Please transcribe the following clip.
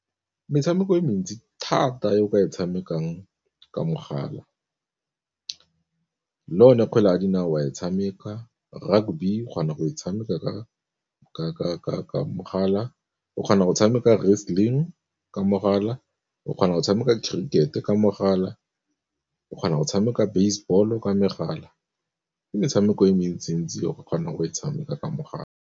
Metshameko e mentsi thata e o ka e tshamekang ka mogala le yone kgwele ya dinao wa e tshameka, rugby o kgona go e tshameka ka mogala, o kgona go tshameka wrestling ka mogala, o kgona go tshameka cricket-e ka mogala, o kgona go tshameka baseball-o ka megala, ke metshameko e mentsi ntsi o kgona go e tshameka ka mogala.